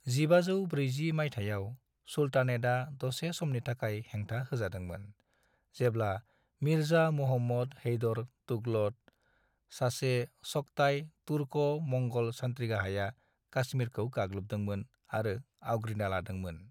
1540 माइथायाव, सुल्तानेतआ दसे समनि थाखाय हेंथा होजादोंमोन, जेब्ला मिर्जा मुहम्मद हैदर दुगलत, सासे चगताई तुर्को-मंग'ल सान्थ्रिगाहाया काश्मीरखौ गाग्लोबदोंमोन आरो आवग्रिना लादोंमोन।